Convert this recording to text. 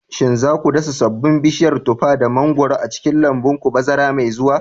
Shin za ku dasa sabon bishiyar tufar da mangwaron a cikin lambun ku bazara mai zuwa?